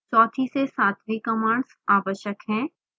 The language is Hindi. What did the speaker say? चौथी से सातवीं कमांड्स आवश्यक हैं